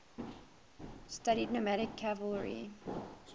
studied nomadic cavalry